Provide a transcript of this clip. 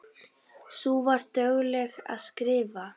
Sú var dugleg að skrifa.